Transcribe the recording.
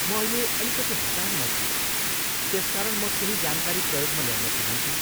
म अहिले अलिकति हतारमा छु त्यसकारण म केही जानकारी प्रयोगमा ल्याउन चाहन्थेँ।